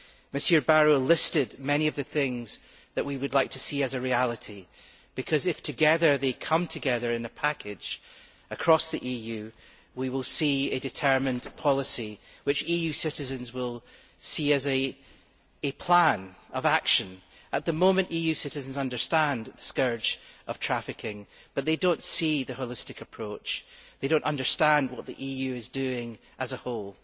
Mr Barrot listed many of the things that we would like to see as a reality and, if they come together in a package across the EU, we will have a determined policy which EU citizens will see as a plan of action. At the moment, EU citizens understand the scourge of trafficking but they do not see the holistic approach and they do not understand what the EU is doing as a whole.